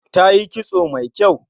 Tayi kitso mai kyau